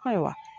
Ayiwa